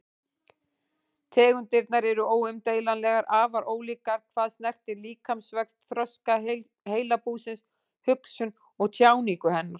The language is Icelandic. Tegundirnar eru óumdeilanlega afar ólíkar hvað snertir líkamsvöxt, þroska heilabúsins, hugsun og tjáningu hennar.